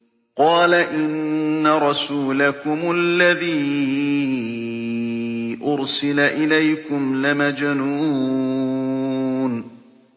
قَالَ إِنَّ رَسُولَكُمُ الَّذِي أُرْسِلَ إِلَيْكُمْ لَمَجْنُونٌ